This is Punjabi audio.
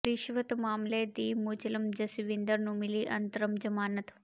ਰਿਸ਼ਵਤ ਮਾਮਲੇ ਦੀ ਮੁਲਜ਼ਮ ਜਸਵਿੰਦਰ ਨੂੰ ਮਿਲੀ ਅੰਤਰਮ ਜ਼ਮਾਨਤ